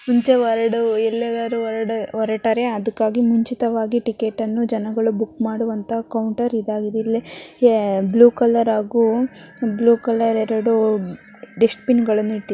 ಮುಂಚೆ ಹೊರಡುವ ಎಲ್ಲಿಗಾರು ಹೊರಡ ಹೊರಟರೆ ಅದಕ್ಕಾಗಿ ಮುಂಚಿತವಾಗಿ ಟಿಕೆಟ್ ಅನ್ನು ಜನಗಳು ಬುಕ್ ಮಾಡುವಂತ ಕೌಂಟರ್ ಇದಾಗಿದೆ. ಇಲ್ಲೇ ಯೇ ಬ್ಲೂ ಕಲರ್ ಹಾಗು ಬ್ಲೂ ಕಲರ್ ಎರಡು ದುಶ್ಟಬಿನ್ ಗಳನ್ನೂ ಇಟ್ಟಿ --